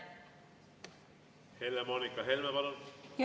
Helle-Moonika Helme, palun!